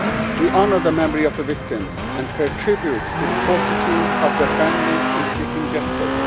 We honour the memory of the victims and pay tribute to the fortitude of their families in seeking justice.